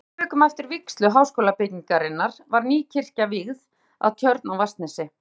Tæpum þrem vikum eftir vígslu Háskólabyggingarinnar var ný kirkja vígð að Tjörn á Vatnsnesi.